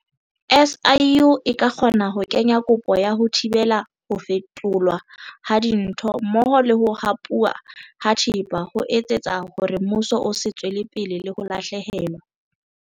SIU e ka kgona ho kenya kopo ya ho thibela ho fetolwa ha dintho mmoho le ho hapuwa ha thepa ho etsetsa hore mmuso o se tswele pele le ho lahlehelwa.